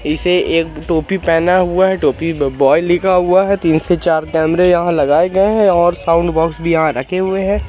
इसे एक टोपी पहना हुआ है। टोपी बाय लिखा हुआ है। तीन से चार कैमरा यहां लगाए गए हैं और साउंड बॉक्स भी यहां रखे हुए हैं।